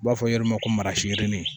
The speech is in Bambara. U b'a fɔ yɔrɔ ma ko marasi yirinin